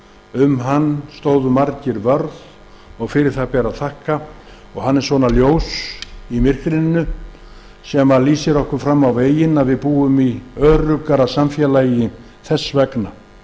um hann stóðu margir vörð og fyrir það ber að þakka hann er ljós í myrkrinu sem lýsir okkur fram á veginn við búum í öruggara samfélagi þess vegna